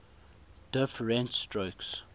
diff rent strokes